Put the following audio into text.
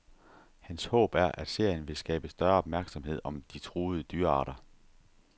Hans håb er, at serien vil skabe større opmærksomhed om de truede dyrearter.